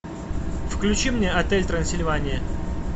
включи мне отель трансильвания